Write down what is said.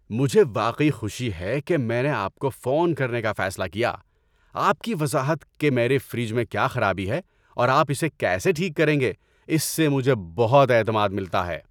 مجھے واقعی خوشی ہے کہ میں نے آپ کو فون کرنے کا فیصلہ کیا – آپ کی وضاحت کہ میرے فریج میں کیا خرابی ہے اور آپ اسے کیسے ٹھیک کریں گے، اس سے مجھے بہت اعتماد ملتا ہے۔